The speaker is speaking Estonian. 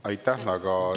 Aitäh!